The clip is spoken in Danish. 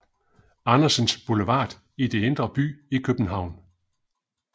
Andersens Boulevard i Indre By i København